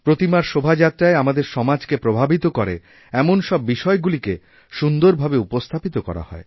প্রতিমার শোভাযাত্রায় আমাদের সমাজকে প্রভাবিত করে এমন সব বিষয়গুলিকেসুন্দর ভাবে উপস্থাপিত করা হয়